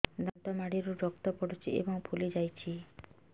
ଦାନ୍ତ ମାଢ଼ିରୁ ରକ୍ତ ପଡୁଛୁ ଏବଂ ଫୁଲି ଯାଇଛି